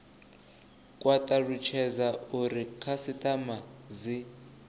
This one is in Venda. kwa talutshedza uri khasitama dzi